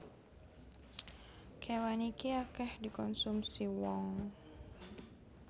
Kéwan iki akèh dikonsumsi wong